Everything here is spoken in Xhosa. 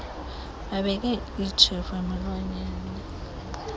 babeke itshefu emilonyeni